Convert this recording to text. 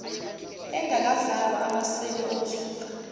engakazalwa amaseli omsuka